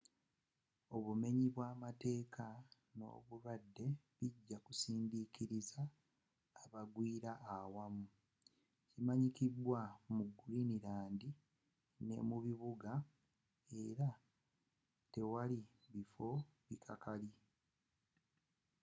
obumenyi bwa mateeka n’obulwadde bijja kusindikiriza abagwira awamu kimanyikidwa mu greenland. ne mu bibuga era tewali bifo ebikakali.